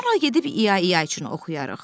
Sonra gedib İya-İya üçün oxuyarıq.